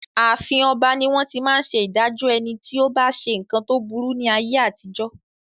Ààfin ọba ní wón ti máa ń ṣe ìdájọ́ ẹni tí ó bá ṣe nǹkan tó burú ní ayé àtijó.